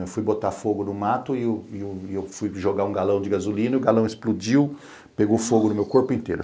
Eu fui botar fogo no mato e eu e eu e eu fui jogar um galão de gasolina e o galão explodiu, pegou fogo no meu corpo inteiro.